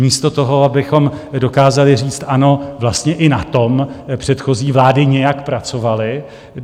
Místo toho, abychom dokázali říct ano, vlastně i na tom předchozí vlády nějak pracovaly.